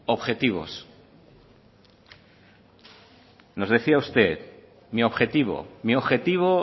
objetivos nos decía usted mi objetivo mi objetivo